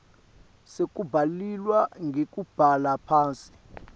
sekubhaliswa ngekubhala phansi